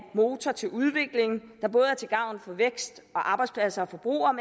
motor til udvikling der både er til gavn for vækst og arbejdspladser og forbrugere og